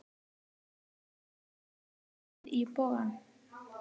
Haukar gerðu góða ferð í Bogann